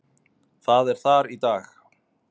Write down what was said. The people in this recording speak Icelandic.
Það er þar í dag.